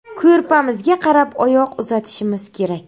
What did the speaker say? Ko‘rpamizga qarab oyoq uzatishimiz kerak.